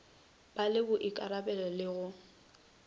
ba le boikarabelo le go